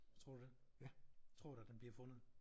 Tror du det? Tror du at den bliver fundet?